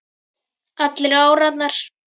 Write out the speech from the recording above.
Allir á árarnar